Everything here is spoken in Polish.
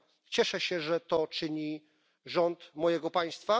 Cieszę się, że to czyni rząd mojego państwa.